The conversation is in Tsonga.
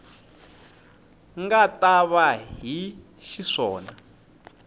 nga ta va hi xiswona